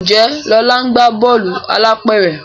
Njé Lola ńgba Bọ́ọ̀lù alápẹ̀rẹ̀?